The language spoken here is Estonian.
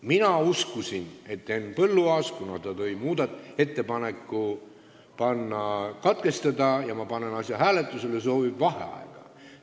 Mina uskusin, et Henn Põlluaas, kes tegi ettepaneku teine lugemine katkestada, soovib enne hääletust vaheaega.